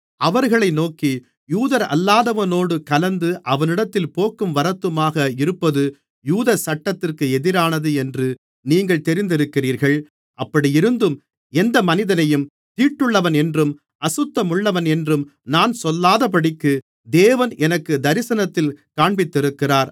அவர்களை நோக்கி யூதரல்லாதவனோடு கலந்து அவனிடத்தில் போக்கும் வரத்துமாக இருப்பது யூத சட்டத்திற்கு எதிரானது என்று நீங்கள் தெரிந்திருக்கிறீர்கள் அப்படியிருந்தும் எந்த மனிதனையும் தீட்டுள்ளவன் என்றும் அசுத்தமுள்ளவன் என்றும் நான் சொல்லாதபடிக்கு தேவன் எனக்குத் தரிசனத்தில் காண்பித்திருக்கிறார்